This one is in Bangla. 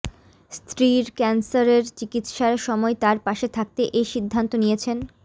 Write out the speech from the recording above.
স্ত্রীর ক্যানসারের চিকিৎসার সময় তার পাশে থাকতে এ সিদ্ধান্ত নিয়েছেন